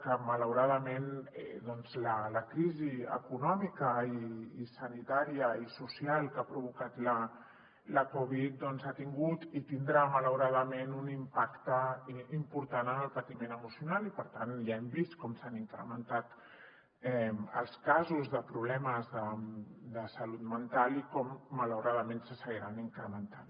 que malauradament doncs la crisi econòmica i sanitària i social que ha provocat la covid ha tingut i tindrà malauradament un impacte important en el patiment emocional i per tant ja hem vist com s’han incrementat els casos de problemes de salut mental i com malauradament se seguiran incrementant